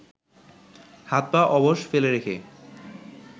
হাত পা অবশ ফেলে রেখে